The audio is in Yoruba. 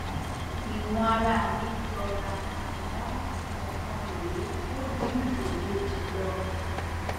ìwọn ara mi jọra àmọ ọkan rèé ó jìn ju èkejì lọ